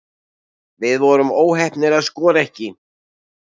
Við vorum óheppnir að skora ekki